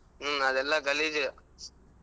ಹ್ಮ್ ಅಲ್ಲೆಲ್ಲಾ ಗಲೀಜ್.